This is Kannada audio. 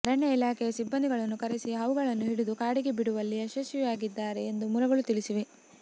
ಅರಣ್ಯ ಇಲಾಖೆಯ ಸಿಬ್ಬಂದಿಗಳನ್ನು ಕರೆಸಿ ಹಾವುಗಳನ್ನು ಹಿಡಿದು ಕಾಡಿಗೆ ಬಿಡುವಲ್ಲಿ ಯಶಸ್ವಿಯಾಗಿದ್ದಾರೆ ಎಂದು ಮೂಲಗಳು ತಿಳಿಸಿವೆ